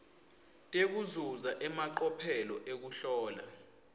tekuzuza emacophelo ekuhlola